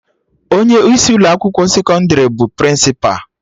Onye isi Ụlọ akwụkwọ sekọndrị bụ Prịnsịpa